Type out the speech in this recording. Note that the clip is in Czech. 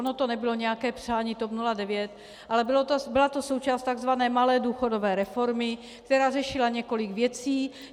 Ono to nebylo nějaké přání TOP 09, ale byla to součást takzvané malé důchodové reformy, která řešila několik věcí.